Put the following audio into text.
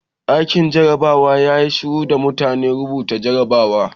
Ɗakin jarabawa yayi shiru da muke rubuta jarrabawa.